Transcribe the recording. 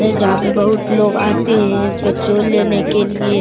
है जहां पे बहुत लोग आते हैं पेट्रोल लेने के लिए।